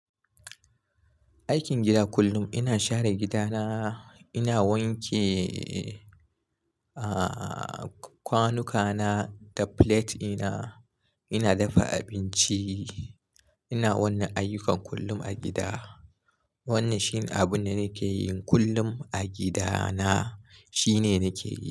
Aikin gida kullum ina share gida na, ina wanke, ah, kwanuka na da plate ina, ina dafa abinci. Ina wannan ayyukan kullum a gida. Wannan shine abin da nake yi kullum a gida na. Shine nake yi.